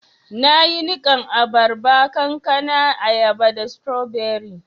Na yi nikan abarba, kankana, ayaba da strawberry.